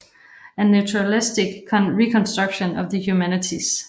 A naturalistic reconstruction of the humanities